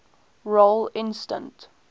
role instance